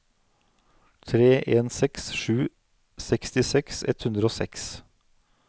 tre en seks sju sekstiseks ett hundre og seks